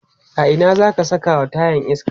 a Ina zaka Saka wa tayan iska?